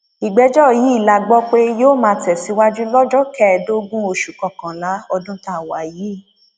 ìgbẹjọ yìí la gbọ pé yóò máa tẹsíwájú lọjọ kẹẹẹdógún oṣù kọkànlá ọdún tá a wà yìí